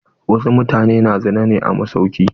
Wasu mutane na zina ne a masauki.